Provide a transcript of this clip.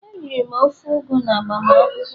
Eriri m ofe ugu n'agbamakwụkwọ